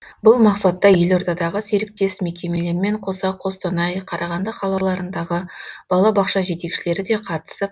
бұл мақсатта елордадағы серіктес мекемелермен қоса қостанай қарағанды қалаларындағы бала бақша жетекшілері де қатысып